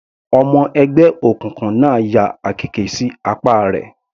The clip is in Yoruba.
Ọmọ ẹgbẹ́ òkùnkùn náà ya àkekè sí apá rẹ̀.